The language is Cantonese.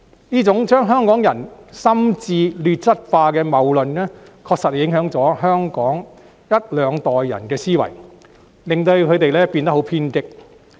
這種把香港人心智劣質化的謬論，確實影響了香港一兩代人的思維，令他們變得很偏激。